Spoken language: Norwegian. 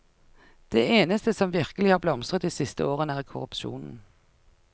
Det eneste som virkelig har blomstret de siste årene, er korrupsjonen.